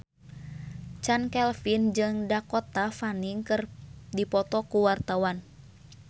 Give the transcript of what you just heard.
Chand Kelvin jeung Dakota Fanning keur dipoto ku wartawan